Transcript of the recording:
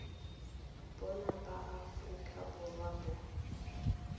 bona ba aforika borwa bo